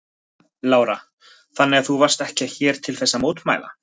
Lára: Þannig að þú varst ekki hér til þess að mótmæla?